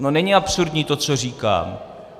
No není absurdní to, co říkám.